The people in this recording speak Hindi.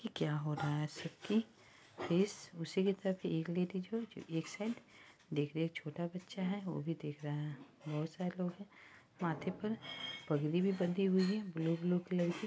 ये क्या हो रहा हैसिकी इस उसी की तरफ लेडीज जोकि एक साइड देख रही है। छोटा बच्चा है वो भी देख रहा है। बहोत सारे लोग है। माथे पर पगड़ी भी बंधी हुई है ब्लू -ब्लू कलर की।